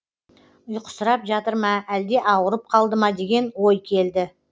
ұйқысырап жатыр ма әлде ауырып қалды ма деген ой келді